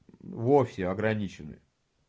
вовсе ограничены